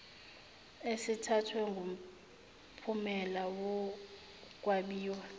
esithathwe ngomphumela wokwabiwa